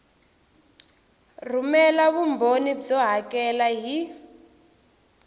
rhumela vumbhoni byo hakela hi